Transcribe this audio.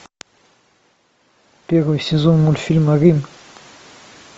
первый сезон мультфильма рим